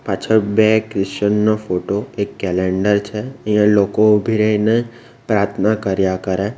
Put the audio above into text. પાછળ બે કિશન નો ફોટો એક કેલેન્ડર છે અહીંયા લોકો ઉભી રહીને પ્રાર્થના કર્યા કરે.